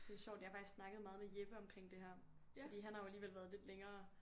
Det sjovt jeg har faktisk snakket meget med Jeppe omkring det her fordi han har jo alligevel været lidt længere